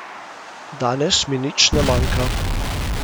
Danes mi nič ne manjka.